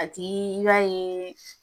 A ti la ye